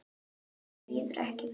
Mér líður ekki vel.